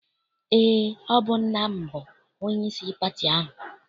Eé, ọ bụ nna m bụ onyeisi pati ahụ.